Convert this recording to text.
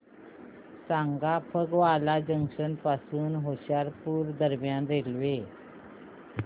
सांगा फगवारा जंक्शन पासून होशियारपुर दरम्यान रेल्वे